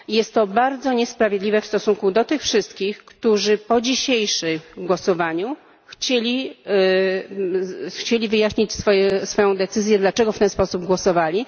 Jest to bardzo niesprawiedliwe w stosunku do tych wszystkich, którzy po dzisiejszym głosowaniu chcieli wyjaśnić swoją decyzję, dlaczego w ten sposób głosowali.